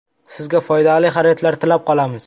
Sizga foydali xaridlar tilab qolamiz!